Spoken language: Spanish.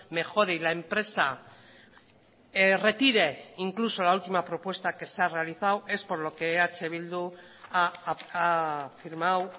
mejore y la empresa retire incluso la ultima propuesta que se ha realizado es por lo que eh bildu ha firmado